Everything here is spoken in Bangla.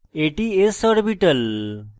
এটি s orbital